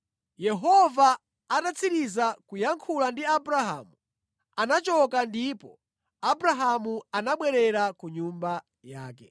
Yehova atatsiriza kuyankhula ndi Abrahamu, anachoka ndipo Abrahamu anabwerera ku nyumba yake.